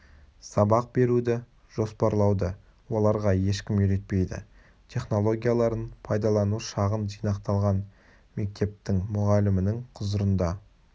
сабақ беруді жоспарлауды оларға ешкім үйретпейді технологияларын пайдалану шағын жинақталған метептің мұғалімінің құзырында